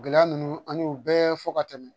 Gɛlɛya ninnu an y'u bɛɛ fɔ ka tɛmɛ